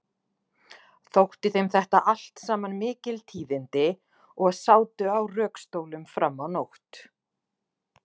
Þótti þeim þetta allt saman mikil tíðindi og sátu á rökstólum fram á nótt.